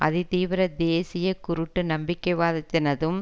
அதிதீவிர தேசிய குருட்டு நம்பிக்கைவாதத்தினதும்